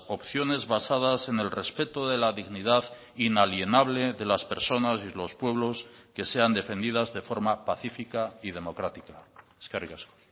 opciones basadas en el respeto de la dignidad inalienable de las personas y los pueblos que sean defendidas de forma pacífica y democrática eskerrik asko